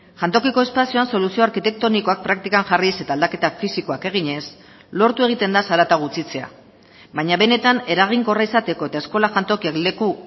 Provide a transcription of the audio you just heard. jantokiko espazioan soluzio arkitektonikoak praktikan jarriz eta aldaketa fisikoak eginez lortu egiten da zarata gutxitzea baina benetan eraginkorra izateko eta eskola jantokiak leku